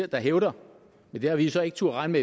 der hævder men det har vi så ikke turdet regne